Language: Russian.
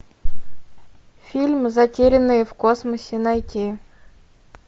фильм затерянные в космосе найти